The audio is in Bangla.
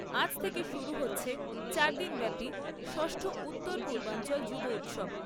আজ থেকে শুরু হচ্ছে চারদিনব্যাপী ষষ্ঠ উত্তর পূর্বাঞ্চল যুব উৎসব।